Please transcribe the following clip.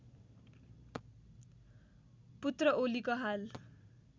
पुत्र ओलीको हाल